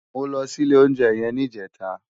Mó lò si ilé óunjè yèn nijètá